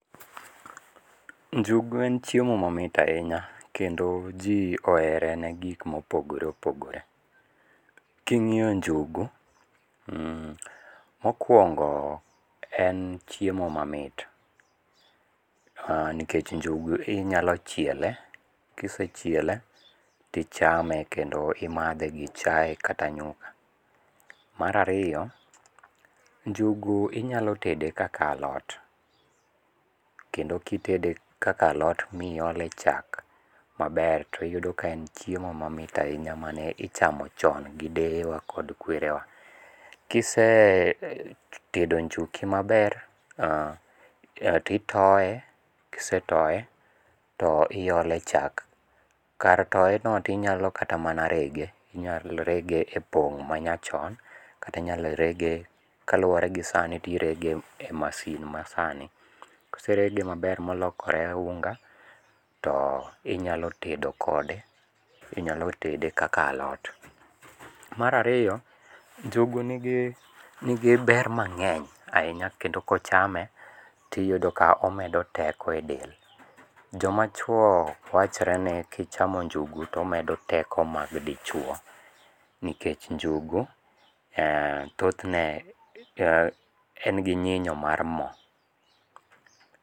Njugu en chiemo mamit ahinya, kendo ji ohere ne gik mopogore opogore. Kingíyo njugu, mokwongo en chiemo mamit. Nikech njogu inyalo chiele, ka isechiele to ichame, kendo imadhe gi chae kata nyuka. Mar ariyo, njugu inyalo tede kaka alot, kendo kitede kaka alot ma iole chak maber to iyude ka en chiemo mamit ahinya mane ichamo chon gi deye wa kod kwere wa. Kise tedo njuki maber, to itoye, kisetoye to iole chak kar toye no to inyalo kata mana rege. Inyalo rege e pong ma nyachon. Kata inyalo rege kaluwore gi sani to irege e masin masani. Koserege maber molokore unga, to inyalo tedo kode. Inyalo tede kaka alot. Mar ariyo, njugu nigi, nigi ber mangény ahinya, kendo kochame, to iyudo ka omedo teko e del. Joma chwo wachore ni kichamo njugu to omedo teko mag dichwo. Nikech njugu thothne en gi nyinyo mar mo.